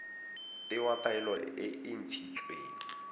tewa taelo e e ntshitsweng